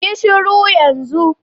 Yi shuru yan zun.